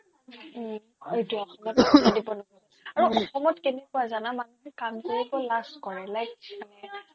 উম্ অ অসমত কেনেকুৱা জানা মানুহে কাম কৰিব লাজ কৰে like মানে